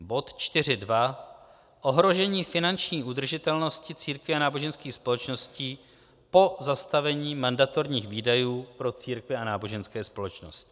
Bod 4.2 Ohrožení finanční udržitelnosti církví a náboženských společností po zastavení mandatorních výdajů pro církve a náboženské společnosti.